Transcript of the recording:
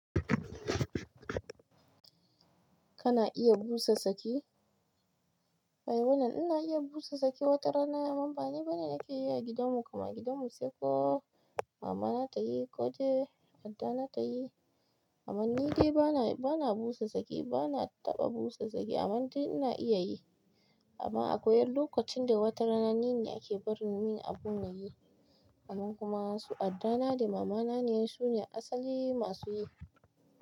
Kana iya busa saki? Ai wannan ina iya busa saki wata rana amma bani bane nake yi a gidan mu, kama gidan mu sai ko mama na ta yi ko dai addana ta yi. Amma ni dai bana, bana busa saki bana taɓa busa saki amma dai ina iya yi. Amma akwai lokacin da wata rana ni ne ake barin min abun na yi amma kuma su addana da mama na ne su ne asali masu yi.